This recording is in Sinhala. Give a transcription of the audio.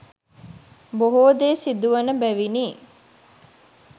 බොහෝ දේ සිදුවන බැවිනි.